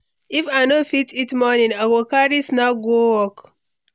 If I no fit eat morning, I go carry snack go work.